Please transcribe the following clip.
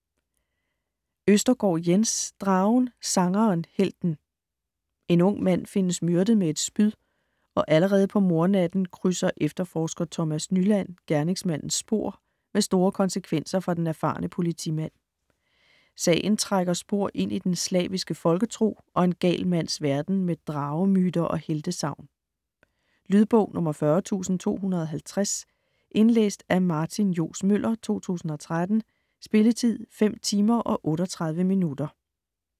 Østergaard, Jens: Dragen, sangeren, helten En ung mand findes myrdet med et spyd, og allerede på mordnatten krydser efterforsker Thomas Nyland gerningsmandens spor med store konsekvenser for den erfarne politimand. Sagen trækker spor ind i den slaviske folketro og en gal mands verden med dragemyter og heltesagn. Lydbog 40250 Indlæst af Martin Johs. Møller, 2013. Spilletid: 5 timer, 38 minutter.